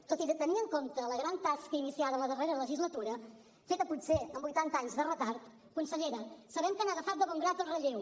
tot i tenir en compte la gran tasca iniciada en la darrera legislatura feta potser amb vuitanta anys de retard consellera sabem que han agafat de bon grat el relleu